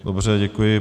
Dobře, děkuji.